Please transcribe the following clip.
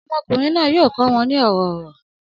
Ọmọkùnrin náà yóò kọ́ wọn ní ọ̀rọ̀ ọ̀rọ̀